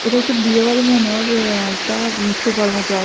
এটি একটা বিয়েবাড়ি মনে হইল একটা সোফার এর মত আস --